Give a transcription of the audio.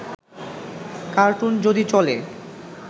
cartoon যদি চলে